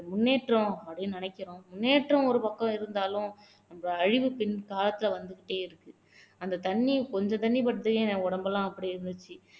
முன்னேற்றம் அப்படின்னு நினைக்கிறோம் முன்னேற்றம் ஒரு பக்கம் இருந்தாலும் நம்ம அழிவுப்பின் காலத்துல வந்துகிட்டே இருக்கு அந்த தண்ணிய கொஞ்சம் தண்ணி பட்டு என் உடம்பெல்லாம் அப்படி இருந்துச்சு